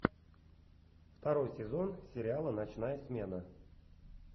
второй сезон сериала ночная смена